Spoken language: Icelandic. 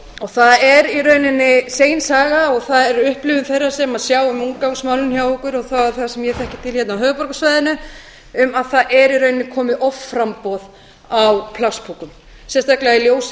það er í rauninni segin saga og það er upplifun þeirra sem sjá um úrgangsmálin hjá okkur og það er þar sem ég þekki til hérna á höfuðborgarsvæðinu um að það er í rauninni komið offramboð á plastpokum sérstaklega í ljósi